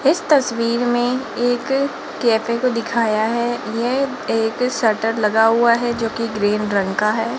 इस तस्वीर में एक कैफे को दिखाया है यह एक शटर लगा हुआ है जो की ग्रीन रंग का है।